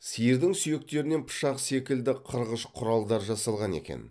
сиырдың сүйектерінен пышақ секілді қырғыш құралдар жасалған екен